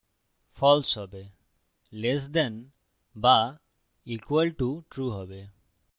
false হবে less than ছোট be equal to সমান true হবে